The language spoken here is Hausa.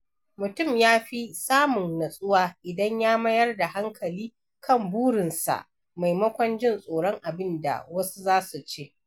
Mutum ya fi samun natsuwa idan ya mayar da hankali kan burinsa maimakon jin tsoron abin da wasu za su ce.